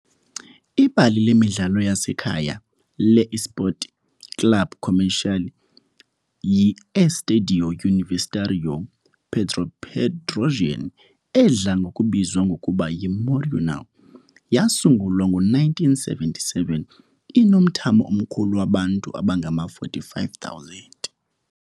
Ibala lemidlalo lasekhaya le-Esporte Clube Comercial yi-Estádio Universitário Pedro Pedrossian, edla ngokubizwa ngokuba yi-Morenão, yasungulwa ngo-1977, inomthamo omkhulu wabantu abangama-45,000.